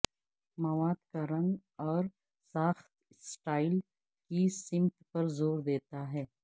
مواد کا رنگ اور ساخت سٹائل کی سمت پر زور دیتا ہے